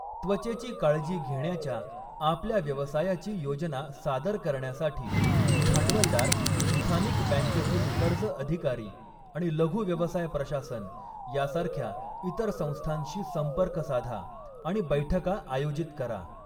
त्वचेची काळजी घेण्याच्या आपल्या व्यवसायाची योजना सादर करण्यासाठी, भांडवलदार, स्थानिक बँकेतील कर्ज अधिकारी आणि लघु व्यवसाय प्रशासन यासारख्या इतर संस्थांशी संपर्क साधा आणि बैठका आयोजित करा.